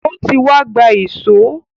O ti wá gba èṣó.